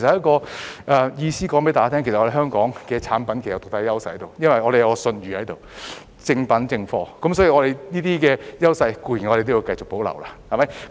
我是想告訴大家，香港產品有獨特的優勢，因為我們有信譽，是正版正貨，所以這些優勢要繼續保留。